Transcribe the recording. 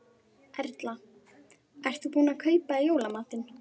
Erla: Ert þú búin að kaupa í jólamatinn?